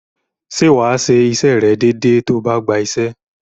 Ṣé wà á ṣe iṣẹ́ rẹ̀ déedée tó o bá gba iṣẹ́?